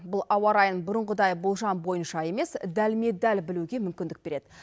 бұл ауа райын бұрынғыдай болжам бойынша емес дәлме дәл білуге мүмкіндік береді